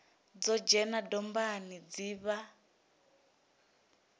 no dzhena dombani dzi vha